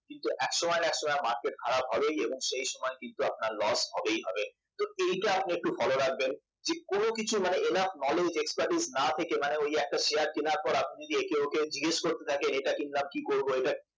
এবং এক সময় না একসময় market খারাপ হবে এবং সেই সময় কিন্তু আপনার loss হবেই হবে তো এইটা আপনি একটু follow রাখবেন তো কোন কিছুই মানে enough knowledge expertise না থেকে মানে ঐ শেয়ার কেনার পরে একে ওকে জিজ্ঞেস করতে থাকেন এইটা কিনলাম কি করব